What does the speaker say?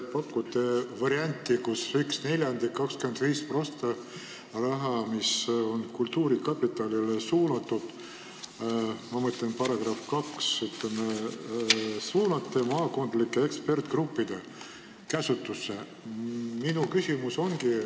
Te pakute varianti, kus ühe neljandiku, 25% rahast, mis on kultuurkapitalile suunatud – ma mõtlen § 2 –, te suunate maakondlike eksperdigruppide käsutusse.